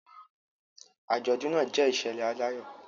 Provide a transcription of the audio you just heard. Àjọ̀dún náà jẹ́ ìṣẹ̀lẹ̀ aláyọ̀